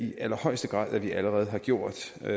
i allerhøjeste grad allerede har gjort det er